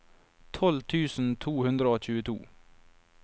tolv tusen to hundre og tjueto